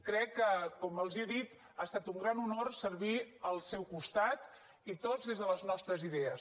crec que com els he dit ha estat un gran honor servir al seu costat i tots des de les nostres idees